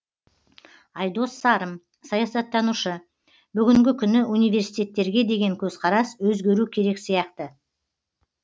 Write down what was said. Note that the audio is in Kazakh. айдос сарым саясаттанушы бүгінгі күні университеттерге деген көзқарас өзгеру керек сияқты